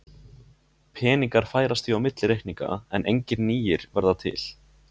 Peningar færast því á milli reikninga en engir nýir verða til.